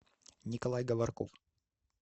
николай говорков